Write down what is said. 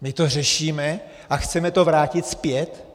My to řešíme a chceme to vrátit zpět?